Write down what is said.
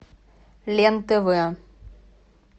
лен тв